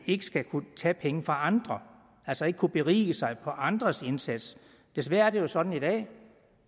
ikke skal kunne tage penge fra andre altså ikke kunne berige sig på andres indsats desværre er det jo sådan i dag